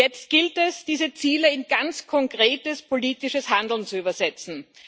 Jetzt gilt es, diese Ziele in ganz konkretes politisches Handeln zu übersetzen.